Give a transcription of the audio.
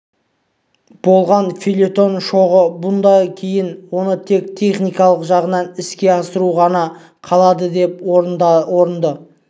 болған фельетон шоғы бұдан кейін оны тек техникалық жағынан іске асыру ғана қалады деп орынды